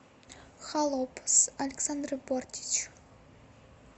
холоп с александрой бортич